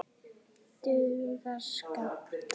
Dugar skammt.